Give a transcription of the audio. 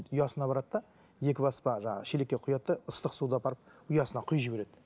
ұясына барады да екі баспа жаңа шелекке құяды да ыстық суды апарып ұясына құйып жібереді